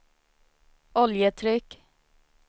oljetryck